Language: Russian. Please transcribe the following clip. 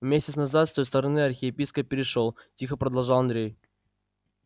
месяц назад с той стороны архиепископ перешёл тихо продолжал андрей